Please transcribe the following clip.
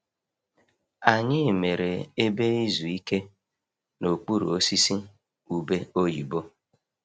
Anyị mere ebe izu ike n'okpuru osisi ube oyibo.